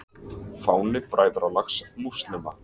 Fáni Bræðralags múslíma.